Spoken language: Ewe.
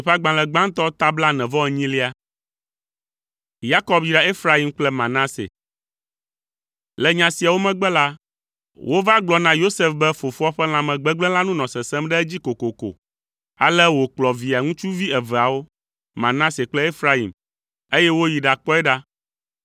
Le nya siawo megbe la, wova gblɔ na Yosef be fofoa ƒe lãmegbegblẽ la nu nɔ sesẽm ɖe edzi kokoko. Ale wòkplɔ Via ŋutsuvi eveawo, Manase kple Efraim, eye woyi ɖakpɔe ɖa.